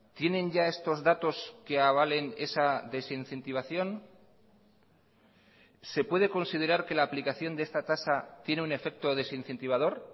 tienen ya estos datos que avalen esa desincentivación se puede considerar que la aplicación de esta tasa tiene un efecto desincentivador